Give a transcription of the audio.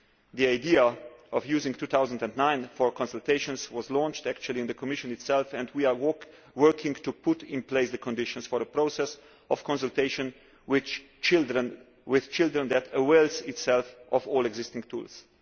The idea of using 2009 for consultations was launched in the Commission itself and we are working to put in place the conditions for a process of consultation with children that avails itself of all existing tools.